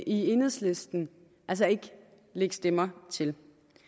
i enhedslisten altså ikke lægge stemmer til